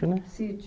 Era um sítio.